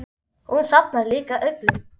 Hún safnar líka uglum.